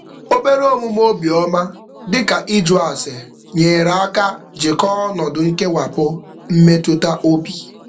Obere omume obiọma, dị ka ịjụ ase nyere aka jikọọ ọnọdụ nkewapụ mmetụtaobi.